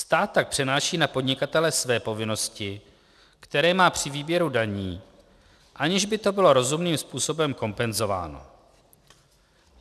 Stát tak přenáší na podnikatele své povinnosti, které má při výběru daní, aniž by to bylo rozumným způsobem kompenzováno.